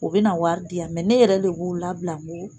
U bɛna na wari di yan ne yɛrɛ de b'u labila